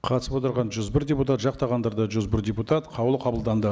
қатысып отырған жүз бір депутат жақтағандар да жүз бір депутат қаулы қабылданды